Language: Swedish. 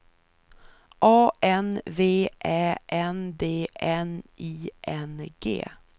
A N V Ä N D N I N G